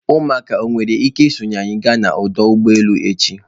Ụmụaka o nwere ike isonyere anyị ga n'ọdụ ụgbọ elu echi?